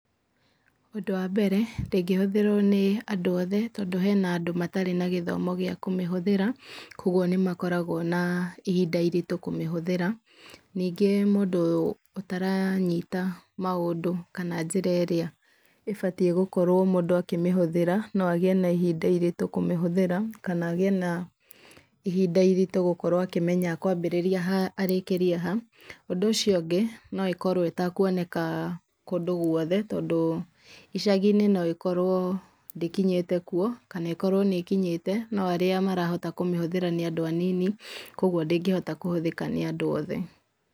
Ũndũ wa mbere ndĩngĩhũthĩrwo nĩ andũ othe tondũ hena andũ matarĩ na gĩthomo gĩa kũmĩhũthĩra, koguo nĩ makoragwo na ihinda iritũ kũmĩhũthĩra. Ningĩ mũndũ ũtaranyita maũndũ kana njĩra ĩrĩa ĩbatie gũkorwo mũndũ akĩmĩhũthĩra no agĩe na ihinda iritũ kũmĩhũthĩra, kana agĩe na ihinda iritũ gũkorwo akĩmenya ekwambĩrĩria ha arĩkĩrie ha. Ũndũ ũcio ũngĩ, no ĩkorwo ĩtekũoneka kũndũ gwothe tondũ icagi-inĩ noĩkorwo ndĩkinyĩte kuo kana ĩkorwo nĩĩkinyĩte, no aria marahota kũhũthĩra nĩ anini kwoguo ndĩngĩhota kũhũthĩrwo nĩ andũ othe.